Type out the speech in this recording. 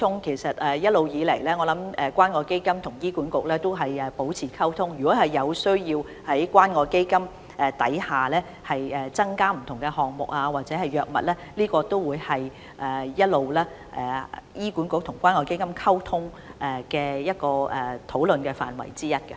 其實，一直以來，關愛基金與醫管局也有保持溝通，如果有需要在關愛基金項下增設不同項目或增加藥物，我相信這也會是醫管局與關愛基金的討論範圍之一。